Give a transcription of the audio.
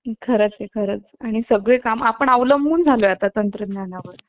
computer भी तेव्वा होत का ते भी नाही आपल्याला ते भी नाही माहित ना